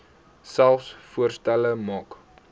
selfs voorstelle maak